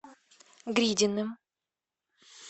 гридиным